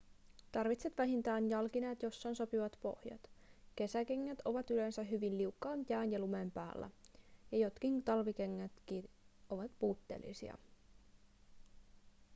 tarvitset vähintään jalkineet joissa on sopivat pohjat kesäkengät ovat yleensä hyvin liukkaat jään ja lumen päällä ja jotkin talvikengätkin ovat puutteellisia